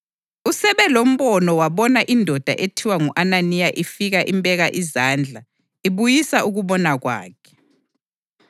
Usebelombono wabona indoda ethiwa ngu-Ananiya ifika imbeka izandla ibuyisa ukubona kwakhe.”